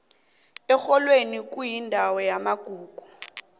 erholweni kuyindawo yamagugu